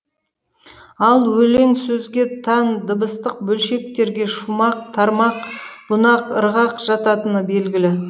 ал өлең сөзге тән дыбыстық бөлшектерге шумақ тармақ бунақ ырғақ жататыны белгілі